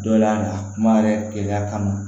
Dɔ y'a kuma yɛrɛ keleya kama